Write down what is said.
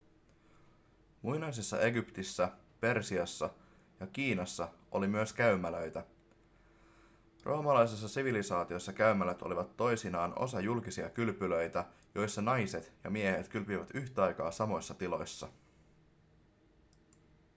muinaisessa egyptissä persiassa ja kiinassa oli myös käymälöitä roomalaisessa sivilisaatiossa käymälät olivat toisinaan osa julkisia kylpylöitä joissa naiset ja miehet kylpivät yhtä aikaa samoissa tiloissa